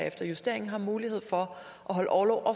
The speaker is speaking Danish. efter justeringen har mulighed for at holde orlov og